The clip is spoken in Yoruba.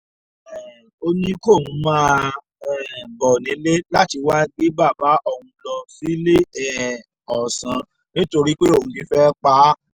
um ó ní kóun máa um bọ̀ nílé láti wáá gbé bàbá òun lọ sílé ọ̀sán nítorí pé òun ti fẹ́ pa á